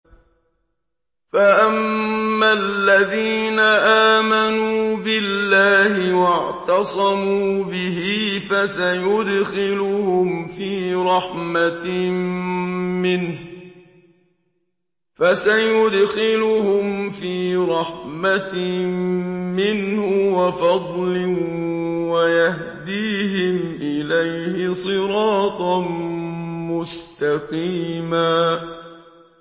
فَأَمَّا الَّذِينَ آمَنُوا بِاللَّهِ وَاعْتَصَمُوا بِهِ فَسَيُدْخِلُهُمْ فِي رَحْمَةٍ مِّنْهُ وَفَضْلٍ وَيَهْدِيهِمْ إِلَيْهِ صِرَاطًا مُّسْتَقِيمًا